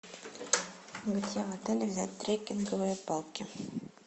где в отеле взять треккинговые палки